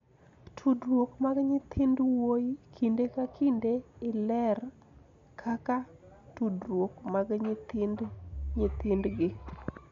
Tudruok mag nyithind wuoyi kinde ka kinde iler kaka tudruok mag nyithind nyithindgi,